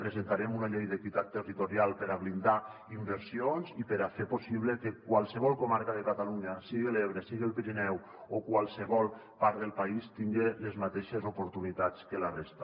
presentarem una llei d’equitat territorial per a blindar inversions i per a fer possible que qualsevol comarca de catalunya siga l’ebre siga el pirineu o qualsevol part del país tinga les mateixes oportunitats que la resta